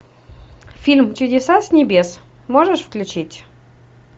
фильм чудеса с небес можешь включить